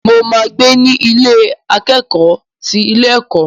Mo máa gbé ní Ilé akẹ́kọ̀ọ́ ti ilé ẹ̀kọ́.